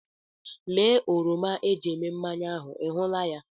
Lee oroma eji eme mmanya ahụ, ị hụla ya?